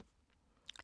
DR K